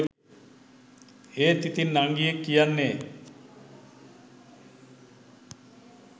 ඒත් ඉතින් නංගියෙක් කියන්නේ